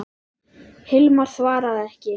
Hilmar svaraði ekki.